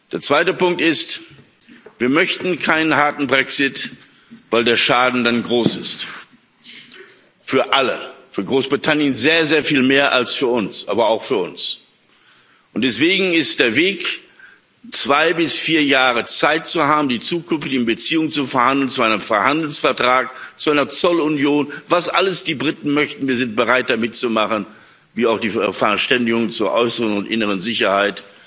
Der zweite Punkt ist Wir möchten keinen harten Brexit, weil der Schaden dann für alle groß ist für Großbritannien sehr, sehr viel mehr als für uns, aber auch für uns. Und deswegen ist der Weg, zwei bis vier Jahre Zeit zu haben, um über die zukünftigen Beziehungen zu verhandeln und zu einem Freihandelsvertrag, zu einer Zollunion was alles die Briten möchten, wir sind bereit, da mitzumachen wie auch zu einer Verständigung zur äußeren und inneren Sicherheit,